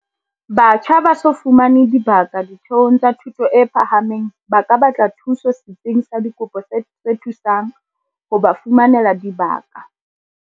Batjha ba so fumane dibaka ditheong tsa thuto e phahameng ba ka batla thuso Setsing sa Dikopo se Thusang ho ba Fumanela Dibaka CACH.